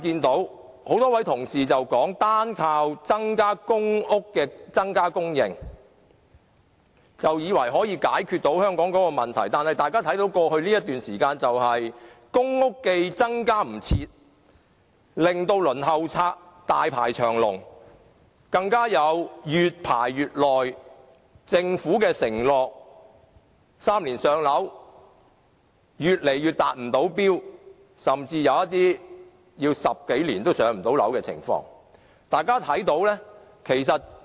多位同事以為單靠增加公屋的供應就可以解決香港的房屋問題，但過去一段時間，公屋既來不及增加，令到輪候冊上的申請者大排長龍，更有越排越久，政府 "3 年上樓"的承諾越來越無法實踐的趨勢，甚至出現有人等了10多年仍無法"上樓"的情況。